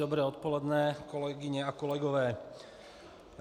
Dobré odpoledne, kolegyně a kolegové.